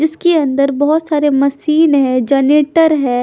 जिसके अंदर बहोत सारे मशीन है जनेटर है।